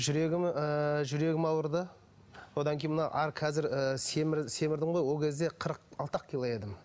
жүрегім ыыы жүрегім ауырды одан кейін мына қазір семірдім ғой ол кезде қырық алты ақ кило едім